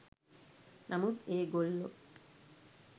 නමුත් ඒ ගොල්ලෝ